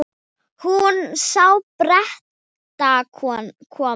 Hún sá Bretana koma.